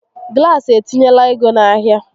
Glaasị etinyelq ego n'ahịa